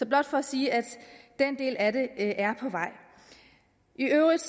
blot for at sige at den del af det er på vej i øvrigt